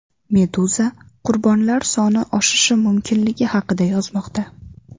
Meduza qurbonlar soni oshishi mumkinligi haqida yozmoqda.